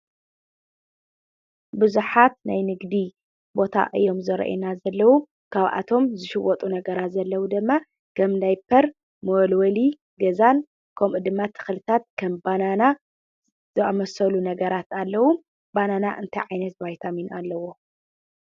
ብዙሓት ናይ ንግዲ ቦታ እዮም ዘሪኡና ዘለው። ካብኣቶም ዝሽወጡ ዘሪኡና ነገራት ዘለዉ ድማ ዳይፐር ፣ መወልወሊ ገዛን ከምኡ ድማ ከም ተኽሊታት ባናና ዝኣመሰሉ ነገራት ኣለው። ባናና እንታይ ዓይነት ባይታሚን ኣለዎ?